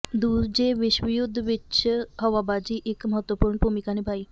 ਦੂਜੇ ਵਿਸ਼ਵ ਯੁੱਧ ਵਿਚ ਹਵਾਬਾਜ਼ੀ ਇੱਕ ਮਹੱਤਵਪੂਰਨ ਭੂਮਿਕਾ ਨਿਭਾਈ